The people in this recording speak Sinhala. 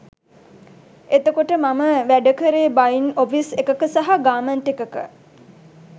එතකොට මම වැඩකරේ බයින් ඔෆිස් එකක සහ ගාර්මන්ට් එකක